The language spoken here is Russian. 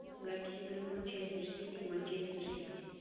запись игры манчестер сити манчестер сити